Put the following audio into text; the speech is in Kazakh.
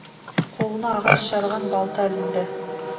қолына ағаш жарған балта ілінді